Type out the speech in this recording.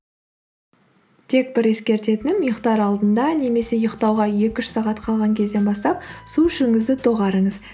тек бір ескертетінім ұйықтар алдында немесе ұйықтауға екі үш сағат қалған кезден бастап су ішуіңізді доғарыңыз